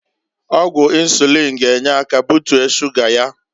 Ọgwụ insuliin g'enye aka butie shuga ya.